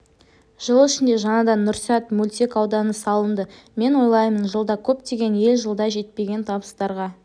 жыл ішінде жаңадан нұрсәт мөлтек ауданы салынды мен ойлаймын жылда көптеген ел жылда жетпеген табыстарға